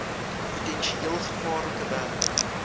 potensieel gevaarlike werk